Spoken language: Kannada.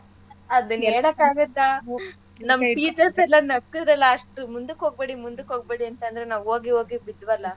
ಅದು ಹೇಳಕ್ಕಾಗತ್ತಾ ನಮ್ teachers ಎಲ್ಲಾ ನಕ್ಕದ್ರಲ್ಲಾ ಅಷ್ಟ್ ಮುಂದಕ್ ಹೋಗ್ಬೇಡಿ ಮುಂದಕ್ ಹೋಗ್ಬೇಡಿ ಅಂತಂದ್ರು ನಾವ್ ಓಗಿ ಓಗಿ ಬಿದ್ವಲ್ಲಾ.